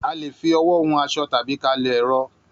A lè fi ọwọ́ hun aṣọ tàbí ká a lọ ẹ̀rọ